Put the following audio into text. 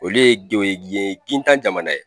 Olu ye ye gintan jamana ye.